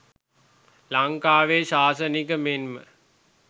ලංකාවේ ශාසනික මෙන්ම